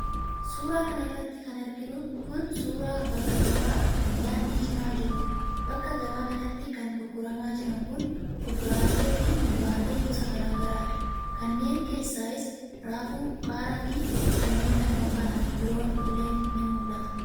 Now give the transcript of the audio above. Suura kana irratti kan arginu kun, suura bakka gabaa daandii cinaa jiruudha. Bakka gabaa kanatti kan gurguramaa jiran kun, kuduraalee fi muduraalee gosa garaa garaadha. Kanneen keessaayis:raafuu, qaaraa fi kanneen kana fakkaatan biroon illee ni mul'ata.